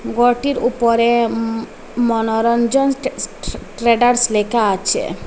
গরটির উপরে ম মনোরঞ্জন স্ট্যা স্টাডার্স লেখা আচে।